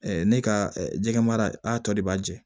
ne ka jɛgɛ mara a tɔ de b'a jɛ